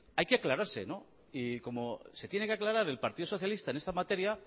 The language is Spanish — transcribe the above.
claro hay que aclararse y como se tiene que aclarar el partido socialista en esta materia